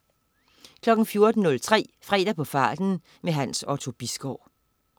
14.03 Fredag på farten. Hans Otto Bisgaard